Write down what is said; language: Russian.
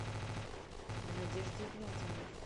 надежде игнатьевне